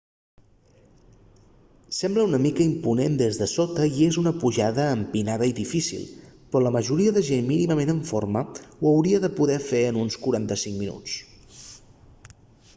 sembla una mica imponent des de sota i és una pujada empinada i difícil però la majoria de gent mínimament en forma ho hauria de poder fer en uns 45 minuts